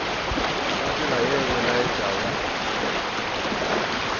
ka tsela ye e laetšago